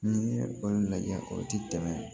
N'i ye olu lajɛ o ti tɛmɛ